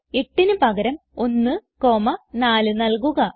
8ന് പകരം 1 4 നൽകുക